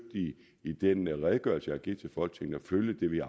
i den redegørelse jeg har givet til folketinget at følge det vi